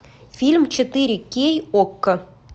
фильм четыре кей окко